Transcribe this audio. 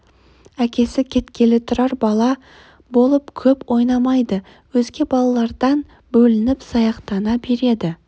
әкесі кеткелі тұрар бала болып көп ойнамайды өзге балалардан бөлініп саяқтана береді